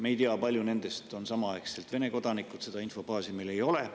Me ei tea, kui paljud nendest on samaaegselt Vene kodanikud, seda infobaasi meil ei ole.